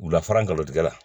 Wulafara galon tigɛ la